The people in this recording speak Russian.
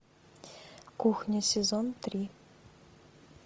кухня сезон три